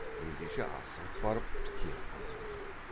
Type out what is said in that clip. ендеше асығып барып теріп қайту керек